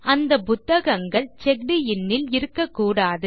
அந்த புத்தகங்கள் செக்ட் இன் ல் இருக்க கூடாது